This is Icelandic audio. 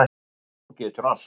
Þú getur allt.